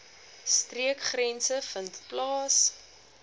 streekgrense vind plaas